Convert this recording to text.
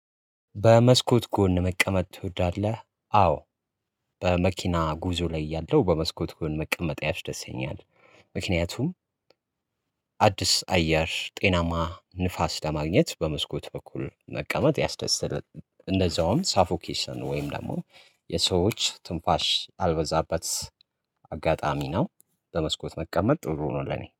በመስኮት ጎን መቀመጥ ትወዳለህ? አዎ በመኪና ጉዞ ላይ ያለው በመስኮት ጎን መቀመጥ ያስደስተኛል። ምክንያቱም አዲስ አየር ጤናማ ንፋስ ለማግኘት በመስኮት በኩል መቀመጥ ያስደሰለት እንደዛውም ሳፎኬሽን ወይም ደግሞ የሰዎች ትንፋሽ አልበዛበት። አጋጣሚ ነው። በመስኮት መቀመጥ ጥሩ ነው ለኔ